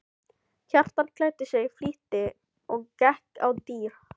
Kjartan klæddi sig í flýti og gekk á dyr.